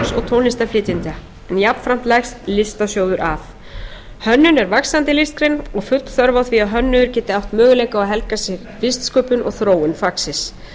tónlistarflytjenda en jafnframt leggst listasjóður af hönnun er vaxandi listgrein og full þörf á því að hönnuðir geti átt möguleika á að helga sig listsköpun og þróun fagsins